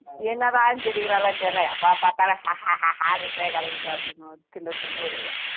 என்னதான் சிரிக்கிறாளோ தெரியல எப்போ பார்த்தாலும் ஹா ஹா ஹானே கிடக்குது அப்படின்னுவாரு கிண்டல் பன்ணுவாரு